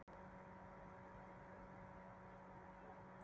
Það er ekkert verra að hún sé dálítið lífsreynd þegar ég tek við henni.